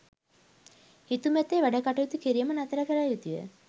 හිතුමතේ වැඩ කටයුතු කිරීම නතර කළ යුතුය.